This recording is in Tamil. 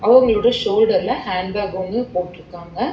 அவுங்களோட சோல்டர்ல ஹேண்ட் பேக் ஒன்னு போட்ருக்காங்க.